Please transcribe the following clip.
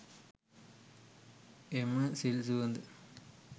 එම සිල් සුවඳ